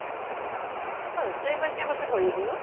অ অ ঐ তই এইবাৰ কিমান বছৰত ভৰি দিলি নো?